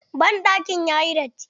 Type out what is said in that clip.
Banɗakin ya yi datti.